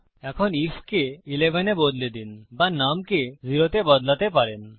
এখন আইএফ কে 11 তে বদলে দিন বা নুম কে 0 তে বদলাতে পারেন